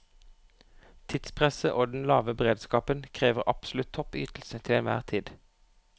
Tidspresset og den lave beredskapen krever absolutt topp ytelse til enhver tid.